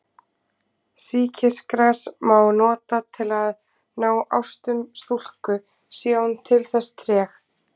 Sýkisgras má nota til að ná ástum stúlku sé hún til þess treg.